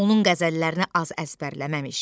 Onun qəzəllərini az əzbərləməmiş.